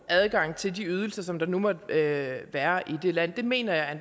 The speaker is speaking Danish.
adgang til de ydelser som der nu måtte være i det land mener jeg